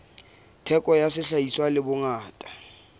theko ya sehlahiswa le bongata